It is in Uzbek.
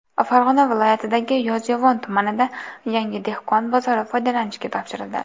Farg‘ona viloyatidagi Yozyovon tumanida yangi dehqon bozori foydalanishga topshirildi.